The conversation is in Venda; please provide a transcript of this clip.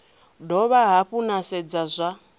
dovha hafhu na sedza zwa